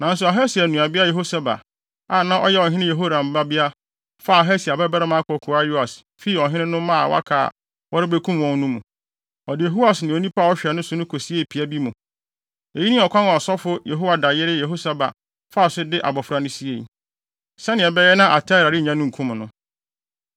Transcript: Nanso Ahasia nuabea Yehoseba, a na ɔyɛ ɔhene Yehoram babea, faa Ahasia babarima akokoaa Yoas fii ɔhene no mma a wɔaka a wɔrebekum wɔn no mu. Ɔde Yoas ne onipa a ɔhwɛ no no kosiee pia bi mu. Eyi ne ɔkwan a ɔsɔfo Yehoiada yere Yehoseba faa so de abofra no siei, sɛnea ɛbɛyɛ na Atalia rennya no nkum no.